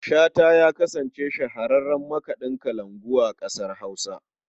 Shata ya kasance shahararren makaɗin kalangu a ƙasar Hausa.